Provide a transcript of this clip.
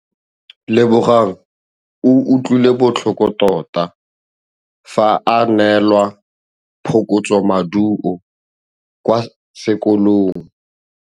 Lebogang o utlwile botlhoko tota fa a neelwa phokotsômaduô kwa sekolong.